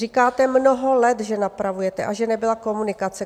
Říkáte mnoho let, že napravujete a že nebyla komunikace.